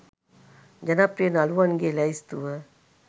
ජනප්‍රිය නළුවන්ගේ ලැයිස්තුව